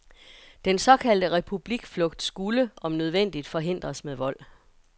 Den såkaldte republikflugt skulle, om nødvendigt, forhindres med vold.